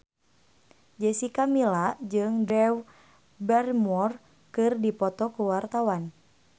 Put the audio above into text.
Jessica Milla jeung Drew Barrymore keur dipoto ku wartawan